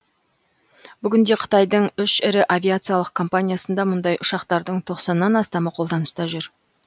бүгінде қытайдың үш ірі авиациялық компаниясында мұндай ұшақтардың тоқсаннан астамы қолданыста жүр